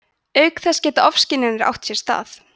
auk þess geta ofskynjanir átt sér stað